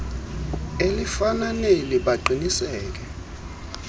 elifana neli baqiniseke